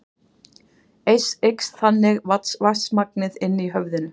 Eykst þannig vatnsmagnið inni í höfðinu.